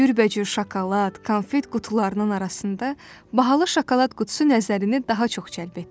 Cürbəcür şokolad, konfet qutularının arasında bahalı şokolad qutusu nəzərini daha çox cəlb etdi.